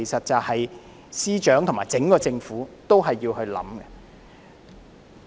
這是司長和整個政府也要思考的。